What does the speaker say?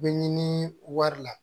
Bɛ ɲini wari la